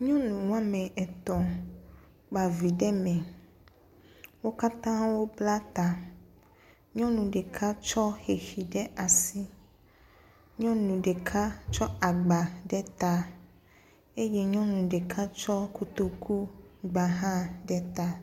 Nyɔnu wo ame etɔ̃ kpa vi ɖe me. Wo katã wobla ta. Nyɔnu ɖeka tsɔ xexi ɖe asi. Nyɔnu ɖeka tsɔ agba ɖe ta. Eye nyɔnu ɖeka tsɔ kotoku gba hã ɖe ta.